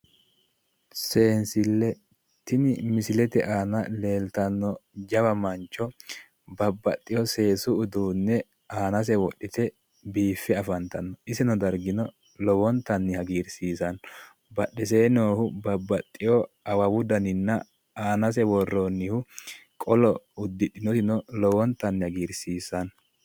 Seensille tini misilete aana leeltanno jawa mancho babbaxino seesu uduu ne aanasi wodhite biiffe afantanno isino dargino lowontanni hagiirsiisanno badhesee noohu awawu danino anase worroyihu qolo lowontanni hagiirsiissanno